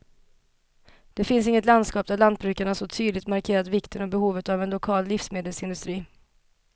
Det finns inget landskap där lantbrukarna så tydligt markerat vikten och behovet av en lokal livsmedelsindustri.